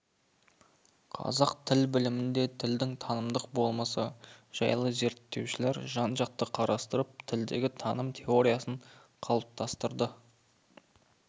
қазақ тіл білімінде тілдің танымдық болмысы жайлызерттеушілер жанжақты қарастырып тілдегі таным теориясын қалыптастырды